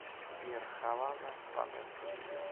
сбер хавана ванесса видео